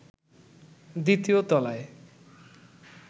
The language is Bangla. দ্বিতীয় তলায়